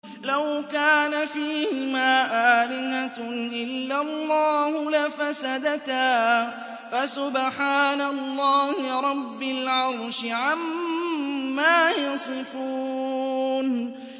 لَوْ كَانَ فِيهِمَا آلِهَةٌ إِلَّا اللَّهُ لَفَسَدَتَا ۚ فَسُبْحَانَ اللَّهِ رَبِّ الْعَرْشِ عَمَّا يَصِفُونَ